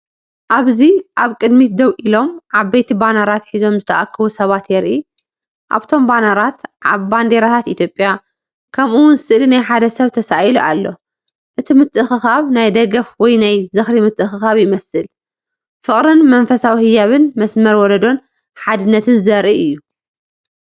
ኣብዚ ኣብ ቅድሚት ደው ኢሎም ዓበይቲ ባነራት ሒዞም ዝተኣከቡ ሰባት የርኢ። ኣብቶም ባነራት ባንዴራታት ኢትዮጵያ፡ከምኡ'ውን ስእሊ ናይ ሓደ ሰብ ተሳኢሉ ኣሎ። እቲ ምትእኽኻብ ናይ ደገፍ ወይ ናይ ዝኽሪ ምትእኽኻብ ይመስል። ፍቕርን መንፈሳዊ ህያብን መስመር ወለዶን ሓድነትን ዘርኢ እዩ።